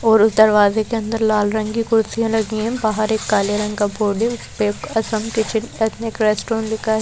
और उस दरवाजे के अंदर लाल रंग की कुर्सीया लगी हैं बाहर एक काले रंग का बोर्ड है उस पे असम किचेन पैक मे एक रेस्टोरेंट लिखा है।